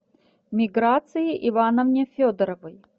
миграции ивановне федоровой